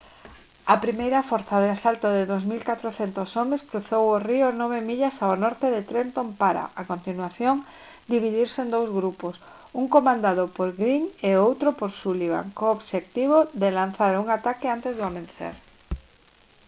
a primeira forza de asalto de 2400 homes cruzou o río nove millas ao norte de trenton para a continuación dividirse en dous grupos un comandado por greene e o outro por sullivan co obxectivo de lanzar un ataque antes do amencer